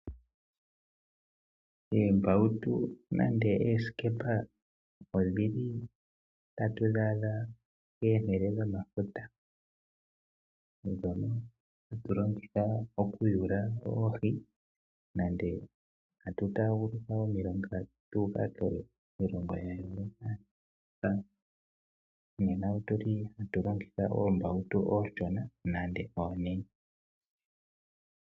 Oombautu nenge oosikepa otatu dhi adha komahala gomafuta. Ohatu dhi longitha okuyula oohi nenge tatu taaguluka omafuta tu uka kiilongo ya yoolokathana, ohatu longitha oombaautu oonshona nenge oonene.